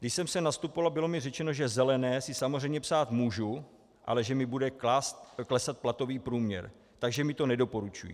Když jsem sem nastupovala, bylo mi řečeno, že zelené si samozřejmě psát můžu, ale že mi bude klesat platový průměr, takže mi to nedoporučují.